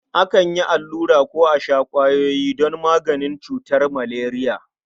Akan yi allura ko a sha ƙwayoyi don magance cutar maleriya.